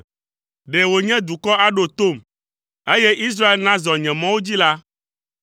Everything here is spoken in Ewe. “Ɖe wònye nye dukɔ aɖo tom, eye Israel nazɔ nye mɔwo dzi la,